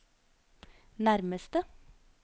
nærmeste